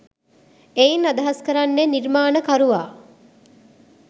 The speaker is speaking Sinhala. එයින් අදහස් කරන්නේ නිර්මාණකරුවා